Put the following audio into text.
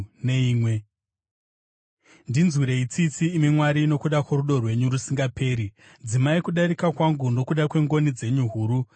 Ndinzwirei tsitsi, imi Mwari, nokuda kworudo rwenyu rusingaperi; dzimai kudarika kwangu nokuda kwengoni dzenyu huru.